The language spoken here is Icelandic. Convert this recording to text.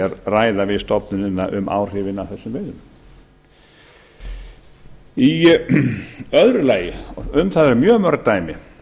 ræða við stofnunina um áhrifin af þessum veiðum í öðru lagi um það eru mjög mörg dæmi